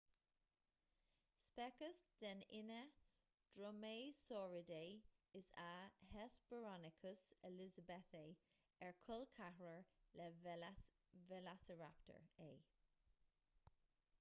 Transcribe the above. speiceas den fhine dromaeosauridae is ea hesperonychus elizabethae ar col ceathrair le veileasaraptar é